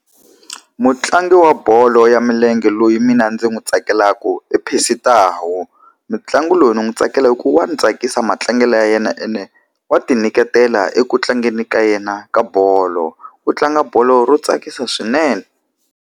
Mutlangi wa bolo ya milenge loyi mina ndzi n'wi tsakelaka i Percy Tau. Mutlangi loyi ni n'wi tsakela ku wa ni tsakisa matlangelo ya yena ene, wa tinyiketela eku tlangeni ka yena ka bolo. U tlanga bolo yo tsakisa swinene.